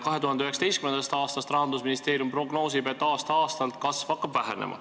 2019. aastaks Rahandusministeerium prognoosib, et aasta-aastalt kasv hakkab vähenema.